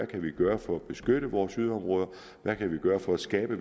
kan gøre for at beskytte vores yderområder hvad vi kan gøre for at skabe